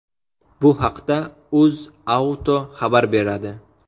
Bu haqda UzAuto xabar beradi .